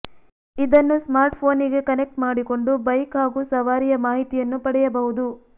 ಇದನ್ನು ಸ್ಮಾರ್ಟ್ಫೋನಿಗೆ ಕನೆಕ್ಟ್ ಮಾಡಿಕೊಂಡು ಬೈಕ್ ಹಾಗೂ ಸವಾರಿಯ ಮಾಹಿತಿಯನ್ನು ಪಡೆಯಬಹುದು